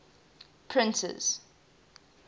printers